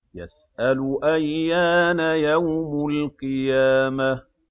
يَسْأَلُ أَيَّانَ يَوْمُ الْقِيَامَةِ